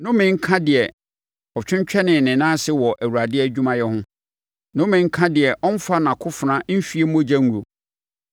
“Nnome nka deɛ ɔtwentwɛnee ne nan ase wɔ Awurade adwumayɛ ho! Nnome nka deɛ ɔmmfa nʼakofena nhwie mogya nguo!